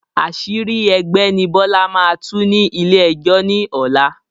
Àṣírí ẹgbẹ́ ni Bọlá máa tú ní ilé ẹjọ́ ni ọ̀la